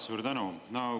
Suur tänu!